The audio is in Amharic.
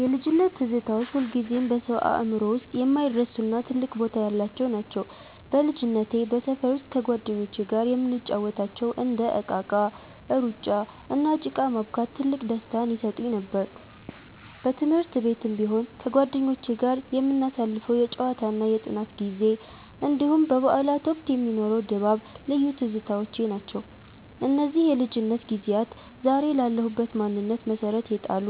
የልጅነት ትዝታዎች ሁልጊዜም በሰው አእምሮ ውስጥ የማይረሱና ትልቅ ቦታ ያላቸው ናቸው። በልጅነቴ በሰፈር ውስጥ ከጓደኞቼ ጋር የምንጫወታቸው እንደ እቃቃ፣ ሩጫ፣ እና ጭቃ ማቡካት ትልቅ ደስታን ይሰጡኝ ነበር። በትምህርት ቤትም ቢሆን ከጓደኞቼ ጋር የምናሳልፈው የጨዋታና የጥናት ጊዜ፣ እንዲሁም በበዓላት ወቅት የሚኖረው ድባብ ልዩ ትዝታዎቼ ናቸው። እነዚህ የልጅነት ጊዜያት ዛሬ ላለሁበት ማንነት መሠረት የጣሉ፣